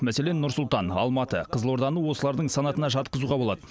мәселен нұр сұлтан алматы қызылорданы осылардың санатына жатқызуға болады